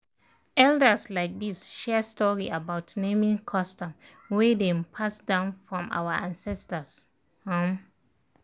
elders um share story about naming custom wey dem pass down from our ancestors um